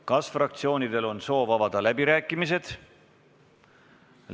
Kas fraktsioonidel on soov avada läbirääkimised?